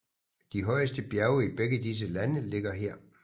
De højeste bjerge i begge disse lande ligger her